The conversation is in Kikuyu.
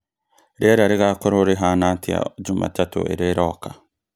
rĩera rĩgakorũo rĩhaana atĩa Jumatatu ĩrĩa ĩroka